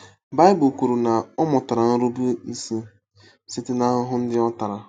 Baịbụl kwuru na “ ọ mụtara nrubeisi site n’ahụhụ ndị ọ tara.